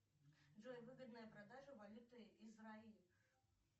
джой выгодная продажа валюты израиль